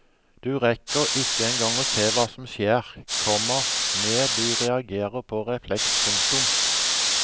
Du rekker ikke engang å se hva som skjer, komma med du reagerer på refleks. punktum